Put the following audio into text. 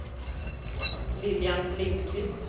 Lilian Lindkvist